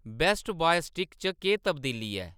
best Buy stick च केह्‌‌ तब्दीली ऐ